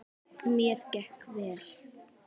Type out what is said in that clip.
Mér gekk vel.